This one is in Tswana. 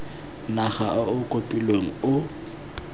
naga o o kopilweng o